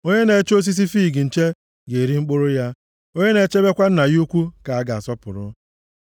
Onye na-eche osisi fiig nche ga-eri mkpụrụ ya, onye na-echebekwa nna ya ukwu ka a ga-asọpụrụ.